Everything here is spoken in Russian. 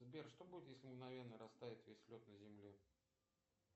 сбер что будет если мгновенно растает весь лед на земле